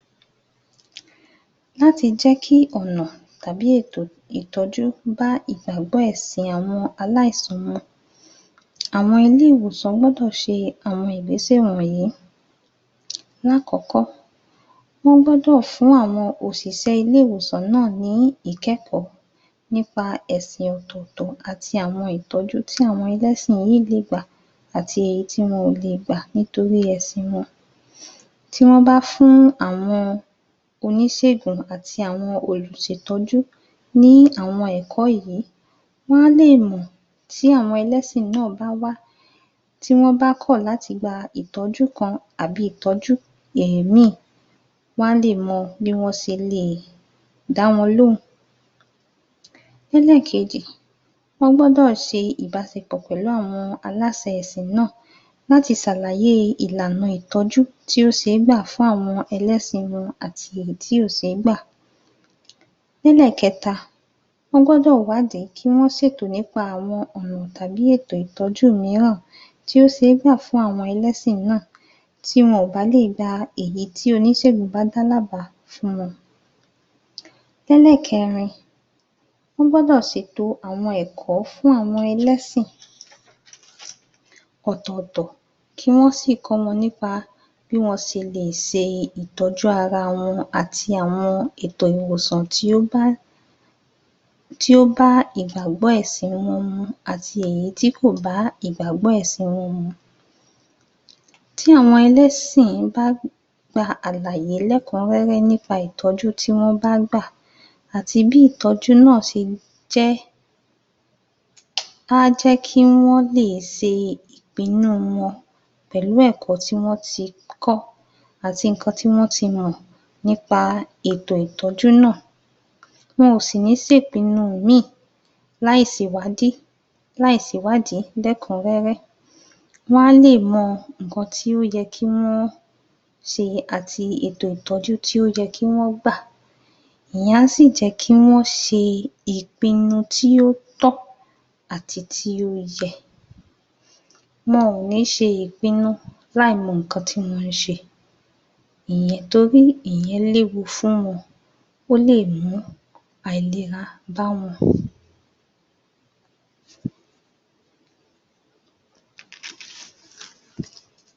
láti jẹ́ kí ọ̀nà tàbí ètò ìtọ́jú bá ìgbàgbọ́ ẹ̀sìn àwọn aláísúnmọ̀ àwọn ilé -ìwòsàn gbọ́dọ̀ se àwọn ìgbésẹ̀ wònyí lákọ̀ọ́kọ́ wọ́n gbọ́dọ̀ fún àwọn òsìsẹ́ ilé - iwòsàn náà ní ikẹ́kọ́ nípa ẹ̀sìn ọ̀tọ̀tọ àti àwọn ìtọ́jú tí àwọn ẹlẹ́sìn yì́í lé gbà àti èyí tí wọn ò le gbà nítorí ẹ̀sìn wọn tí wọ́n bá fụ́n àwọn onísègùn àti àwọn olùtọ́jú ní àwọn ẹ̀kọ́ yìí wọ́n á lè mọ̀ tí àwọn ẹlẹ́sìn náà bá wá tí wọ́n bá kọ̀ láti gba ìtọ́jú kan àbi ìtọ́jú èèmí wọ́n lè mọ bí wọ́n se lè dá wọn lóhun lẹ́lẹ́kejì wọ́n gbọ́dọ̀ se ìbásepọ̀ pẹ̀lú àwọn aláse ẹ̀sìn náà láti sàlàyé ìlànà ìtọ́jú tí ó se gbà fún àwọn ẹlẹ́sìn wọn àti èyí tí kò sé gbà lẹ́lèkẹta wọ́n gbọdọ̀ wádí, kí wọ́n ṣètò nípa àwọn ọ̀nà tàbí ètò ìtọ́jú míràn tí ó se gbà fún àwọn ẹlẹ́sìn náà tí́ wọn kò bá lé gba èyí tí onísègùn bá dá lá bá um lẹ́lẹ́kẹrin wọ́n gbọ́dọ̀ sètò àwọn ẹ̀kọ́ fún àwọn ẹlẹ́sìn ọ̀tọ̀tọ̀ kí wọn sí kọ́ wọn nípa bí wọ́n se lè se ìtọ́jú ara wọn àti àwọn ètò ìwòsàn tí ó bá tí ó bá ìgbàgbọ́ ẹ̀sìn wọn mu àti èyí tí kò bá ìgbàgbọ́ ẹ̀sìn wọn mu tí àwọn ẹlẹ́sìn bá gba àlàyé lékúrẹ́rẹ́ nípa ìtọ́jú tí wọ́n bá gbà àti bi ́ ìtọ́jú náà se jẹ́ á jẹ́ kí wọ́n lè se ìpinú wọn pẹ̀lú ẹ̀kọ́ tí wọ́n ti kọ́ àti ìkan tí wọ́n ti mọ̀ nípa ètò ìtọ́jú náà wọn ò sì ní se ìpinu mí ì láí se ìwadí láí se ìwádí lẹ́kúnrẹ́rẹ́ wọ́n á le mọ ìkan tí ó yẹ kí wọ́n se àti ètò ìtọ́jú tí ó yẹ kí wọ́n gbà èyan á sì jẹ́ kí wọ́n se ìpinu tí ó tọ́ ati tí ó yẹ wọn ò ní se ìpinu láí mọ ikan tí wọ́n se ìyen, torí ìyen léwu fún won ó lè mú àilera bá wọn